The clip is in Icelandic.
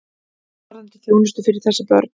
Varðandi þjónustu fyrir þessi börn.